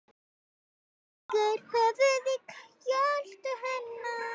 Leggur höfuðið í kjöltu hennar.